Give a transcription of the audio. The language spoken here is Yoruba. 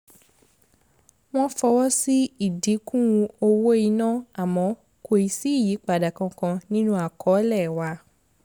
wọ́n fọwọ́ sí ìdínkù owó iná àmọ́ kò ì sí ìyípadà kankan nínú àkọọ́lẹ̀ wa